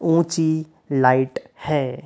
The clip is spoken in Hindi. ऊँची लाइट है।